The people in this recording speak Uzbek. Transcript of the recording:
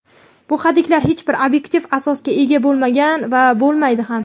Bu hadiklar hech bir obyektiv asosga ega bo‘lmagan va bo‘lmaydi ham.